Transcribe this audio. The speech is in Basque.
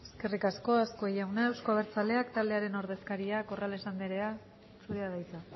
eskerrik asko azkue jauna euzko abertzaleak taldearen ordezkaria corrales anderea zurea da hitza